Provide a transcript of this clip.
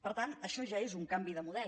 per tant això ja és un canvi de model